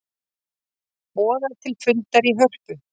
Boða til fundar í Hörpu